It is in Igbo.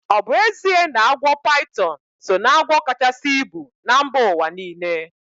Ọ bụ ezie na agwọ paitọn so ná agwọ kachasi ibu na mba ụwa niile?